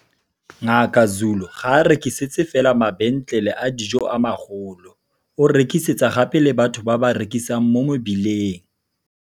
Ngaka Zulu ga a rekisetse fela mabentlele a dijo a magolo, o rekisetsa gape le batho ba ba rekisang mo mebileng.